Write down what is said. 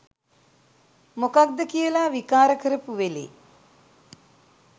මොකක්ද කියලා විකාර කරපු වෙලේ